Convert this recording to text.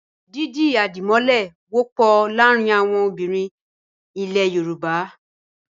Dídi àdìmọ́lẹ̀ wọ́pọ̀ láàárin àwọn obìnrin ilẹ̀ Yorùbá.